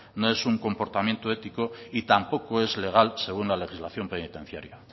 no es un comportamiento ético y tampoco es legal según la legislación penitenciaria